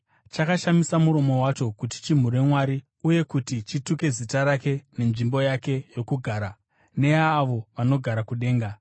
Chakashamisa muromo wacho kuti chimhure Mwari, uye kuti chituke zita rake nenzvimbo yake yokugara, neyaavo vanogara kudenga.